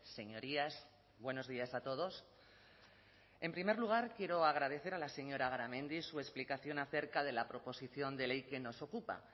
señorías buenos días a todos en primer lugar quiero agradecer a la señora garamendi su explicación acerca de la proposición de ley que nos ocupa